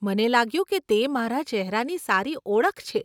મને લાગ્યું કે તે મારા ચેહરાની સારી ઓળખ છે.